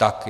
Ano.